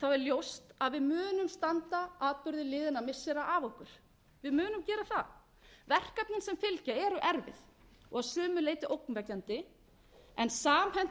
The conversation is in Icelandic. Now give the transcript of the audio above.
er ljóst að við munum standa atburði liðinna missira af okkur við munum gera það verkefni á fylgja eru erfið og að sumu leyti ógnvekjandi en samhent viðbrögð